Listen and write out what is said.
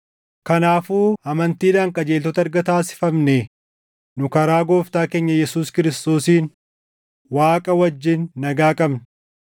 Kanaafuu amantiidhaan qajeeltota erga taasifamnee nu karaa Gooftaa keenya Yesuus Kiristoosiin Waaqa wajjin nagaa qabna.